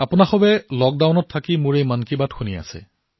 আপোনালোক সকলোৱে লকডাউনৰ সময়ছোৱাত এই মন কী বাত শুনি আছে